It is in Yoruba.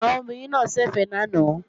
Àwọn obìnrin náà ń ṣẹ̀fẹ̀ lánàá